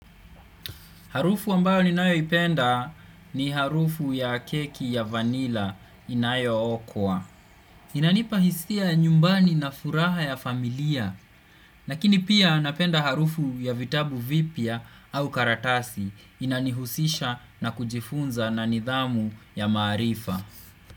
Harufu ambao ninayoipenda ni harufu ya keki ya vanila inayookwa. Inanipa hisia nyumbani na furaha ya familia. Lakini pia, napenda harufu ya vitabu vipya au karatasi. Inanihusisha na kujifunza na nidhamu ya maarifa.